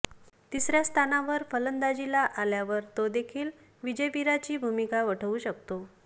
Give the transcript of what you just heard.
तिसऱ्या स्थानावर फलंदाजीला आल्यावर तो देखील विजयवीराची भूमिका वठवू शकतो